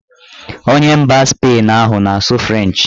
Onye mba Spain ahụ na-asụ frenchị